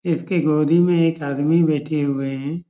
इसके गोदी में एक आदमी बैठे हुए हैं।